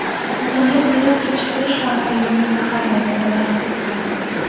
Insonning hayot kechirish tamoyilini zaharlaydi va baxtsiz qiladi.